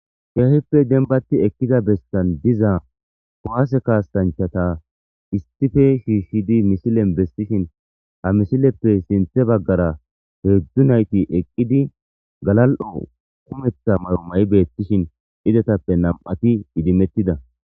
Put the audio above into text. Heehippe denbati eqqida bestan diza owaase kaastanchata istife shiishshidi misilen bestishin ha misileppe sinthe baggara heedzdzu nayti eqqidi galal,o kumetha maromay beettishin idetappe nam,ati idimettida.